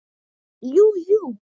Jú jú.